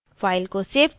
file को save करें